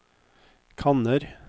kanner